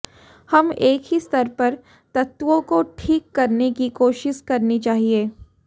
हम एक ही स्तर पर तत्वों को ठीक करने की कोशिश करनी चाहिए